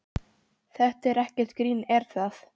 Þetta er ekkert grín er það?